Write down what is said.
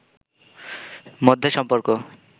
মধ্যে সম্পর্ক